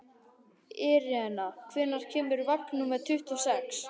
Irena, hvenær kemur vagn númer tuttugu og sex?